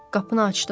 Qapını açdım.